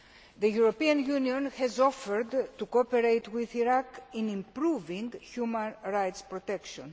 The European Union has offered to cooperate with Iraq in improving human rights protection.